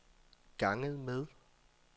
ganget med